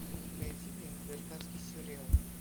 найди мне американский сериал